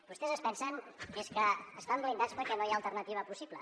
vostès es pensen que és que estan blindats perquè no hi ha alternativa possible